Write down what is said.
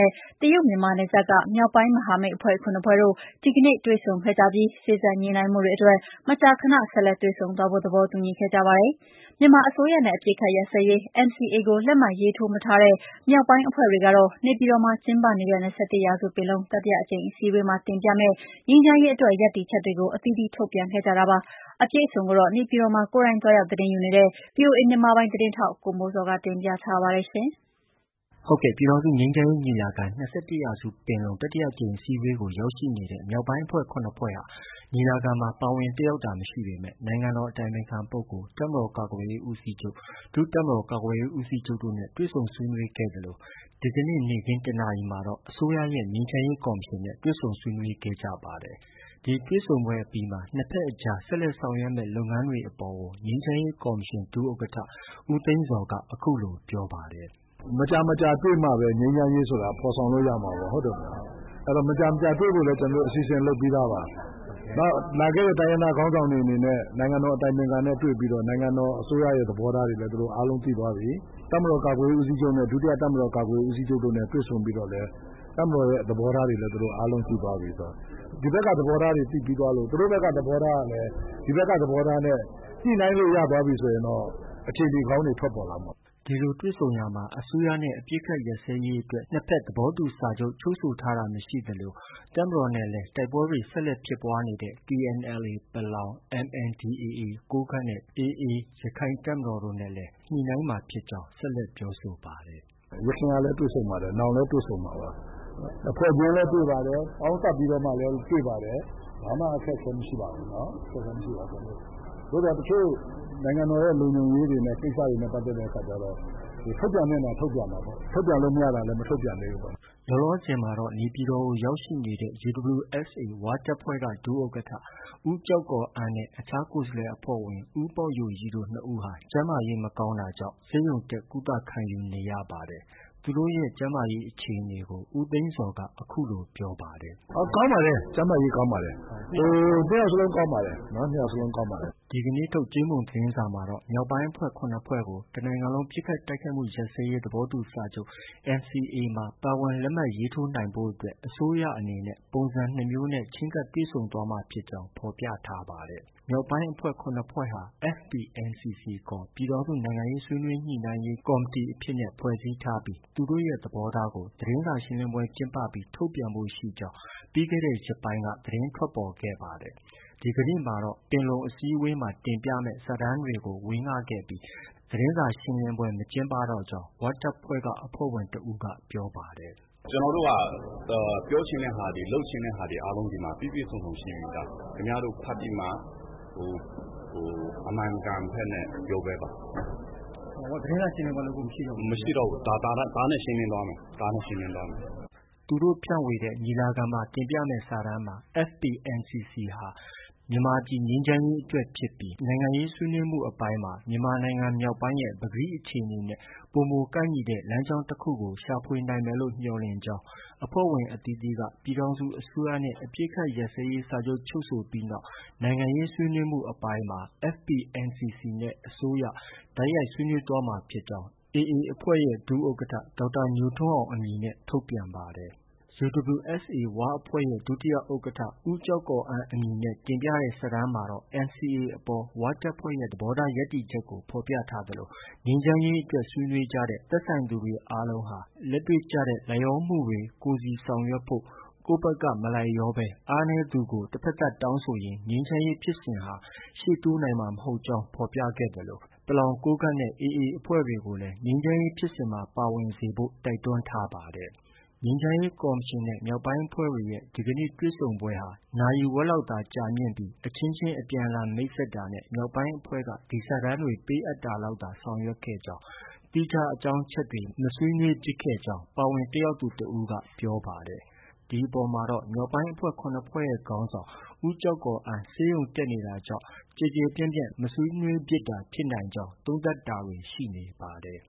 ဲ့ တရုတ် မြန်မာနယ်စပ်က မြောက်ပိုင်းမဟာမိတ်အဖွဲ့ ဖွဲ့နဲ့ မြန်မာအစိုးရရဲ့ ငြိမ်းချမ်းရေး ကော် မရှင် တာဝန်ရှိသူတွေ ဒီကနေ့ တွေ့ဆုံ ခဲ့ကြပြီး စေ့စပ်ညှိနှိုင်းမှုတွေအတွက် မကြာခဏ ဆက်လက်တွေ့ဆုံသွားဖို့ သဘောတူခဲ့ကြပါတယ်။ မြန်မာ အစိုးရနဲ့ အပစ်အခတ် ရပ်စဲ ရေး ကို လက်မှတ်ရေးထိုးမထားတဲ့ မြောက်ပိုင်းအဖွဲ့တွေကတော့ နေပြည်တော်မှာ ကျင်းပနေတဲ့ ၂၁ ရာစုပင်လုံ တတိယအကြိမ်အစည်းအဝေးမှာ တင်ပြမယ့် ငြိမ်းချမ်းရေး အတွက် ရပ်တည်ချက်တွေကို အသီးသီးထုတ်ပြန်ခဲ့ကြတာပါ။ အပြည့်အစုံကိုတော့ နေပြည်တော်မှာ ကိုယ်တိုင် သွားရောက် သတင်းယူနေတဲ့ ဗွီအိုအေမြန်မာပိုင်း သတင်းထောက် ကိုမိုးဇော်က တင်ပြပေးထားပါတယ်။ ပြည်ထောင်စုငြိမ်းချမ်းရေးညီလာခံ- ၂၁ ရာစုပင်လုံ တတိယအကြိမ်အစည်းအဝေးကို ရောက်ရှိနေတဲ့ မြောက် ပိုင်းအဖွဲ့ ၇ ဖွဲ့ဟာ ညီလာခံမှာ ပါဝင်တက်ရောက်တာမရှိပေမဲ့ နိုင်ငံတော်အတိုင်ပင်ခံပုဂ္ဂိုလ်၊ တပ်မတော် ကာကွယ်ရေးဦးစီးချုပ်၊ ဒုတပ်မတော် ကာကွယ်ရေး ဦးစီးချုပ်တို့နဲ့ တွေ့ဆုံဆွေးနွေးခဲ့သလို ဒီကနေ့နေ့ခင်း ၁ နာရီ မှာတော့ အစိုးရရဲ့ ငြိမ်းချမ်းရေးကော်မရှင်နဲ့ တွေ့ဆုံဆွေးနွေးခဲ့ကြပါတယ်။ ဒီတွေ့ဆုံပွဲအပြီးမှာ နှစ်ဖက်အကြား ဆက်လက်ဆောင်ရွက်ကြမယ့် လုပ်ငန်းတွေအပေါ် ငြိမ်းချမ်းရေးကော်မရှင် ဒုဥက္ကဌ ဦးသိန်းဇော်က အခုလို ပြောကြားပါတယ်။ “မကြာမကြာတွေ့မှပဲ ငြိမ်းချမ်းရေးဆိုတာ ဖော်ဆောင်လို့ ရမှာ၊ ဟုတ်တယ်မို့လား။ အဲတော့ မကြာမကြာ တွေ့ဖို့ လည်း အစီအစဉ်လုပ်ပြီးသားပါ။ နောက် လာခဲ့တဲ့ တိုင်းရင်းသား ခေါင်းဆောင်တွေအနေနဲ့ နိုင်ငံတော် အတိုင်ပင်ခံနဲ့ တွေ့ပြီးတော့ နိုင်ငံတော် အစိုးရရဲ့ သဘောထားတွေလည်း သူတို့ အားလုံးသိသွားပြီ။ တပ်မတော် ကာကွယ်ရေးဦးစီးချုပ်နဲ့ ဒုတိယတပ်မတော်ကာကွယ်ရေးဦးစီးချုပ်တို့နဲ့လည်း တွေ့ဆုံပြီးတော့လည်း တပ်မတော်ရဲ့ သဘောထားတွေလည်း သူတို့သိသွားပြီဆိုတော့ ဒီဖက်က သဘောထားတွေ သိပြီးသွား လို့ သူတို့ဘက်က သဘောထားကလည်း ဒီဖက်က သဘောထားနဲ့ ညှိနှိုင်းလို့ ရသွားပြီ ဆိုရင်တော့ အခြေအနေ ကောင်းတွေ ထွက်ပေါ်လာမှာပါ။ ” ဒီလိုတွေ့ဆုံရာမှာ အစိုးရနဲ့ အပစ်အခတ်ရပ်စဲရေးအတွက် နှစ်ဖက်သဘောတူ စာချုပ် ချုပ်ဆိုထားတာမရှိသလို တပ်မတော်နဲ့ တိုက်ပွဲဖြစ်ပွားနေဆဲဖြစ်တဲ့ TNLA ပလောင်၊ MNDAA ကိုးကန့်နဲ့ AA ရခိုင်တပ်မတော်တို့နဲ့လည်း ညှိနှိုင်းမှာဖြစ်ကြောင်း ဆက်လက်ပြောဆိုပါတယ်။ “ယခင်ကလည်း တွေ့ဆုံပါတယ်။ နောင်လည်း တွေ့ဆုံမှာပါ။ တဖွဲ့ချင်းလည်း တွေ့ပါတယ်။ ပေါင်းစပ်ပြီးတော့မှ လည်း တွေ့ပါတယ်။ ဘာမှ အခက်အခဲမရှိပါဘူး။ အခက်အခဲမရှိပါဘူး ကျနော်တို့၊ ဒါပေမဲ့ တချို့ နိုင်ငံတော်ရဲ့ လုံခြုံရေးတွေနဲ့ ကိစ္စတွေနဲ့ ပတ်သက်တဲ့ အခါကျ တော့ ထုတ်ပြန်လို့ ရတာထုတ်ပြန်တာပေါ့။ ထုတ်ပြန်လု့ိမရတာ မထုတ်ပြန်သေးဘူးပေါ့။” လောလောဆယ်မှာ နေပြည်တော်ကို ရောက်ရှိနေတဲ့ UWSA ဝတပ်ဖွဲ့က ဒုဥက္ကဋ္ဌ ဦးကျောက်ကော်အန်းနဲ့ အခြား ကိုယ်စားလှယ်အဖွဲ့ဝင် ဦးပေါက်ယိုရိတို့ နှစ်ယောက်ဟာ ကျန်းမာရေးမကောင်းတာကြောင့် ဆေးရုံတက် ကုသခံယူနေရပါတယ်။ သူတို့နှစ်ယောက် ရဲ့ ကျန်းမာရေးအခြေအနေကိုလည်း ဦးသိန်းဇော်က အခုလို ပြောပါတယ်။ “ကောင်းပါတယ်။ ကျန်းမာရေးကောင်းပါတယ်။ နှစ်ယောက်စလုံးကောင်းပါတယ်။” ဒီကနေ့ထုတ် ကြေးမုံသတင်းစာမှာတော့ မြောက်ပိုင်းအဖွဲ့ ၇ ဖွဲ့ကို တနိုင်ငံလုံးပစ်ခတ် တိုက်ခိုက်မှု ရပ်စဲရေး သဘောတူစာချုပ် NCA မှာ ပါဝင်လက်မှတ်ရေးထိုးနိုင်ဖို့အတွက် အစိုးရအနေနဲ့ ပုံစံနှစ်မျိုးနဲ့ ချဉ်းကပ်တွေ့ဆုံ သွားမှာ ဖြစ်ကြောင်းကို ဖော်ပြထားပါတယ်။ မြောက်ပိုင်းအဖွဲ့ ၇ ဖွဲ့ဟာ FPNCC ခေါ် ပြည်ထောင်စုနိုင်ငံရေးဆွေးနွေးညှိနှိုင်းရေး ကော်မတီအဖြစ်နဲ့ ဖွဲ့စည်း ထားပြီး သူတို့ရဲ့ သဘောထားကို သတင်းစာရှင်းလင်းပွဲကျင်းပဖို့ ရှိကြောင်း ပြီးခဲ့တဲ့ ရက်ပိုင်းတွေက သတင်း ထွက်ပေါ်ခဲ့ပါတယ်။ ဒီကနေ့မှာတော့ ပင်လုံအစည်းအဝေးမှာ တင်ပြမယ့် စာတမ်းတွေကို ဝေငှခဲ့ပြီး သတင်းစာ ရှင်းလင်းပွဲ မကျင်းပတော့ကြောင်း ၀ တပ်ဖွဲ့ကအဖွဲ့ဝင်တဦးက ပြောပါတယ်။ “ကျနော်တို့က ပြောချင်တဲ့ဟာတွေ လုပ်ချင်တဲ့ဟာတွေကို ဒီမှာ ပြည့်ပြည့်စုံစုံရှိပြီးသား ခင်ဗျားတို့ ဖတ်ပြီးမှ အမှန်အကန်ဖက်နဲ့ ပြောပေးပါ။ သတင်းစာရှင်းလင်းပွဲလုပ်ဖို့ မရှိတော့ ဘူး။ ဒါနဲ့ ရှင်းလင်းသွားမယ်။” သူတို့ ဖြန့်ဝေတဲ့ ညီလာခံမှာ တင်ပြမယ့် စာတမ်းမှာ FPNCC တာဟာ မြန်မာပြည် ငြိမ်းချမ်းရေးအတွက်ဖြစ်ပြီး နိုင်ငံရေးဆွေးနွေးမှုအပိုင်းမှာ မြန်မာနိုင်ငံမြောက်ပိုင်းရဲ့ ပကတိ အခြေအနေနဲ့ ပိုမိုကိုက်ညီတဲ့ လမ်းကြောင်းတခု ရှာဖွေနိုင်မယ်မျှော်လင့်ကြောင်း၊ အဖွဲ့ဝင် အသီးသီးက ပြည်ထောင်စုအစိုးရနဲ့ အပစ်အခတ် ရပ်စဲရေး စာချုပ် ချုပ်ဆိုပြီးနောက် နိုင်ငံရေးဆွေးနွေးမှုအပိုင်းမှာ FPNCC နဲ့ အစိုးရ တိုက်ရိုက်နိုင်ငံရေးဆွေးနွေး သွားမှာ ဖြစ်ကြောင်း AA အဖွဲ့ရဲ့ ဒုဥက္ကဋ္ဌအမည်နဲ့ ထုတ်ပြန်ပါတယ်။ UWSA ဝအဖွဲ့ရဲ့ ဒုတိယဥက္ကဌ ဦးကျောက်ကော်အန်းအမည်နဲ့တင်ပြတဲ့ စာတမ်းမှာတော့ NCA အပေါ် ၀ တပ်ဖွဲ့ရဲ့ သဘောထားရပ်တည်ချက်ကို ဖော်ပြသလို ငြိမ်းချမ်းရေးအတွက် ဆွေးနွေးကြတဲ့ သက်ဆိုင်သူတွေ အားလုံးဟာ လက်တွေ့ကျတဲ့ လိုက်လျောမှုတွေ ကိုယ်စီ ဆောင်ရွက်ဖု့ိ၊ ကိုယ်ဖက်က မလိုက်လျောဘဲ အားနည်းသူကို တဖက်သတ်တောင်းဆိုရင် ငြိမ်းချမ်းရေးဖြစ်စဉ်ဟာ ရှေ့တိုးနိုင်မှာ မဟုတ်ကြောင်း ဖော်ပြခဲ့ သလို ပလောင်၊ ကိုးကန့် ၊ AA အဖွဲ့တွေကိုလည်း ငြိမ်းချမ်းရေးဖြစ်စဉ်မှာ ပါဝင်စေဖို့ တိုက်တွန်းထားပါတယ်။ ငြိမ်းချမ်းရေးကော်မရှင်နဲ့ မြောက်ပိုင်းအဖွဲ့တွေရဲ့ ဒီကနေ့တွေ့ဆုံပွဲဟာ နာရီဝက်လောက် သာ ကြာမြင့်ပြီး အချင်းချင်း အပြန်အလှန်မိတ်ဆက်တာနဲ့ မြောက်ပိုင်းအဖွဲ့က ဒီစာတမ်း တွေကို ပေးအပ်တာလောက်သာ ဆောင်ရွက်ခဲ့ကြောင်း၊ သီးခြားအကြောင်းအချက်တွေ မဆွေးနွေးဖြစ်ခဲ့ကြောင်း ပါဝင်တက်ရောက်သူတဦးက ပြောပါတယ်။ ဒီအပေါ်မှာတော့ မြောက်ပိုင်းအဖွဲ့၇ဖွဲ့ရဲ့ ခေါင်းဆောင် ဦးကျောက်ကော်အန်း ဆေးရုံတက်ရောက် နေရ တာကြောင့် ဖြစ်နိုင်ကြောင်း သုံးသပ်တာတွေလည်း ရှိနေပါတယ်